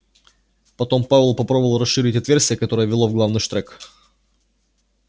потом пауэлл попробовал расширить отверстие которое вело в главный штрек